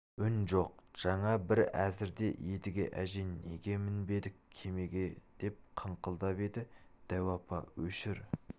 үн жоқ жаңа бір әзірде едіге әже неге мінбедік кемеге деп қыңқылдап еді дәу апа өшір